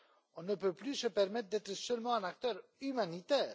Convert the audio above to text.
On ne peut plus se permettre d'être seulement un acteur humanitaire.